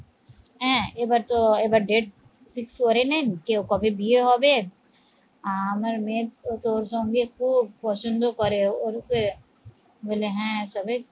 হ্যাঁ, এবার তো এবার date fix করে নেন কেউ কবে বিয়ে হবে আমার মেয়ের তো ওর সঙ্গে খুব পছন্দ করে ওরফে বলে হ্যাঁ